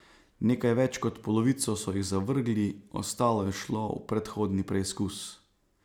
Nekaj več kot polovico so jih zavrgli, ostalo je šlo v predhodni preizkus.